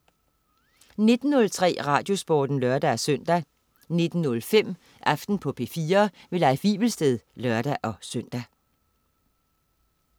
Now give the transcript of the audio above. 19.03 RadioSporten (lør-søn) 19.05 Aften på P4. Leif Wivelsted (lør-søn)